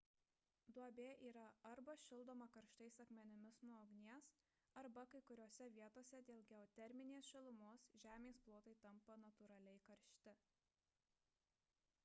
duobė yra arba šildoma karštais akmenimis nuo ugnies arba kai kuriose vietose dėl geoterminės šilumos žemės plotai tampa natūraliai karšti